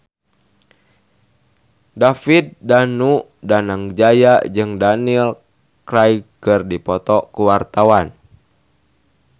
David Danu Danangjaya jeung Daniel Craig keur dipoto ku wartawan